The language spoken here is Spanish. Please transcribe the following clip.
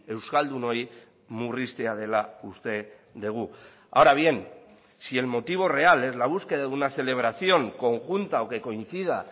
euskaldun ohi murriztea dela uste dugu ahora bien si el motivo real es la búsqueda de una celebración conjunta o que coincida